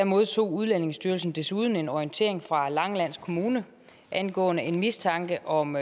modtog udlændingestyrelsen desuden en orientering fra langeland kommune angående en mistanke om